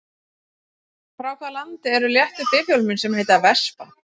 Frá hvaða landi eru léttu bifhjólin sem heita Vespa?